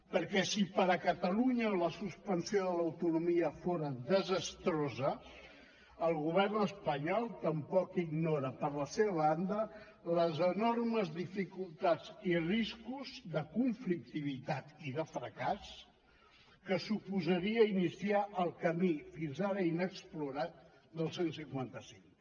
perquè si per a catalunya la suspensió de l’autonomia fora desastrosa el govern espanyol tampoc ignora per la seva banda les enormes dificultats i riscos de conflictivitat i de fracàs que suposaria iniciar el camí fins ara inexplorat del cent i cinquanta cinc